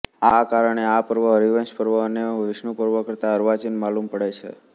આ કારણે આ પર્વ હરિવંશપર્વ અને વિષ્ણુપર્વ કરતાં અર્વાચીન માલુમ પડે છે